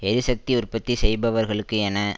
எரிசக்தி உற்பத்தி செய்பவர்களுக்கு என